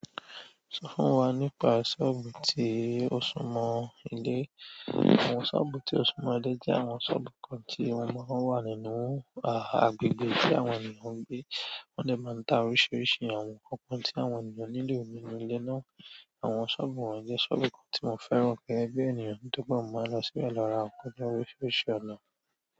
Sọ fún wa nípa sọ́ọ̀bù tí ó súmọ́ ilé. Àwọn sọ́ọ̀bù tí ó súmọ́ ilé jẹ́ àwọn sọ́ọ̀bù kan tí ó máa ń wà nínú àgbègbè tí àwọn ènìyàn ń gbé. Won dẹ maa n ta oríṣiríṣi àwọn nǹkan kan ti àwọn ènìyàn nílò nínú ile náà. Àwọn sọ́ọ̀bù wọ̀nyí jẹ́ sọ́ọ̀bù kan tí mo fẹ́ràn gẹ́gẹ́ bi ènìyàn nítorí pe mo máa n lọ síbẹ̀ lọ ra nsikan jẹ oríṣiríṣi ọ̀nà.